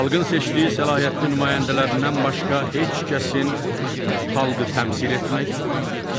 Xalqın seçdiyi səlahiyyətli nümayəndələrindən başqa heç kəsin xalqı təmsil etmək,